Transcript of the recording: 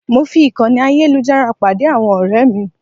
Mo fi ìkànnì ayélujára pàdé àwọn ọ̀rẹ́ mi.